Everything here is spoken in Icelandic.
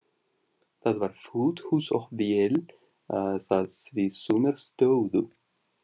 Það var fullt hús og vel það, því sumir stóðu.